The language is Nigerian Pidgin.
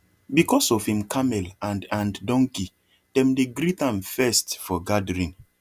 because of him camel and and donkey dem dey greet am first for gathering